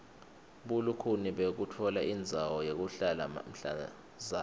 bulukhuni bekutfola indzawo yekuhlala mhlazana